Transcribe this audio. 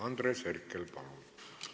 Andres Herkel, palun!